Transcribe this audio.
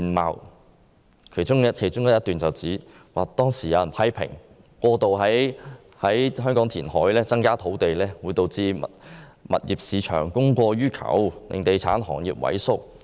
文件的其中一段表示，當時有人批評，過度在香港填海增加土地會導致物業市場供過於求，令地產行業萎縮。